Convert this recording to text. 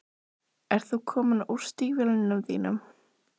Ert þú kominn úr stígvélunum þínum?